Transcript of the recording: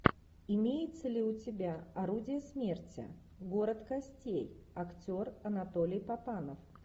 имеется ли у тебя орудие смерти город костей актер анатолий папанов